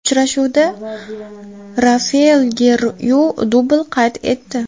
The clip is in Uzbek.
Uchrashuvda Rafael Gerreyru dubl qayd etdi.